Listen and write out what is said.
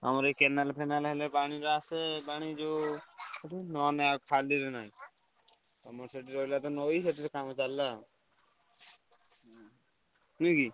ଆମର ଏ କେନାଲ ଫେନାଲ ହେଲେ ପାଣି ଯୋ ଆସେ ପାଣି ଯୋ ଏଠୁ ନହେଲେ ନାହିଁ ଖାଲିରେ ନାହିଁ। ଆମର ସେଠି ରହିଲା ନଇ ସେଥିରେ କାମ ଚାଲିଲା। ନୁହେକି?